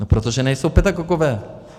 No protože nejsou pedagogové.